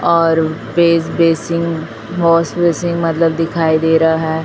और face basin wash basin मतलब दिखाई दे रहा है।